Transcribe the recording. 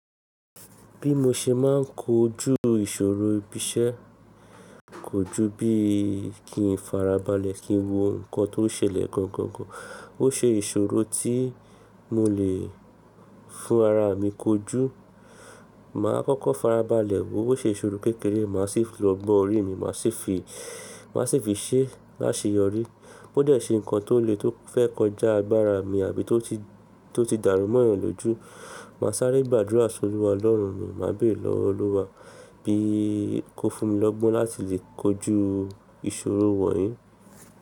Bí mo ṣe máa ń kojú ìṣòro ibiṣẹ́, kojú bí i kí n farabalẹ̀ kí n wo nǹkan tó ṣẹlẹ̀ gangan gan, ó ṣe ìṣòro tí mo lè fún ara mi kojú. Máa kọ́kọ́ farabalẹ̀ wo bó ṣe ṣòro kékeré, màá sì lọ gbọ́ orí mi, màá sì fi, màá sì fi ṣẹ́ láṣeyọrí. Bó dẹ̀ ṣé ǹkan tó le tó fẹ́ kọjá agbára mi àbí tó ti, tó ti dàrúmọ̀yàn lójú, màá sáré gbàdúrà sórí Olúwa Ọlọ́run mi, màá bèrè lọ́wọ́ Olúwa bí i kó fún mi lọ́gbọ́n láti lè kojú ìṣòro wọ̀nyí.